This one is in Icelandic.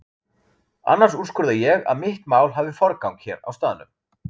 Annars úrskurða ég að mitt mál hafi forgang hér á staðnum.